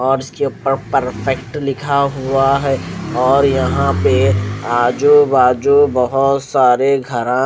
और उसके ऊपर परफेक्ट लिखा हुआ है और यहां पे आजू बाजू बहुत सारे घरा --